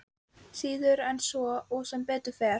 Síður en svo og sem betur fer.